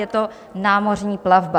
Je to námořní plavba.